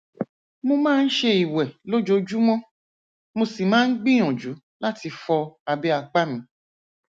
mo máa ń ṣe ìwè lójoojúmọ mo sì máa ń gbìyànjú láti fọ abẹ apá mi